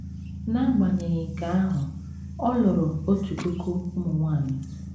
N’agbanyeghị nke ahụ, ọ lụrụ otu puku ụmụ nwanyị.